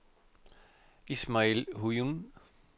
Ismail Huynh